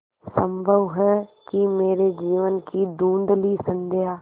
संभव है कि मेरे जीवन की धँुधली संध्या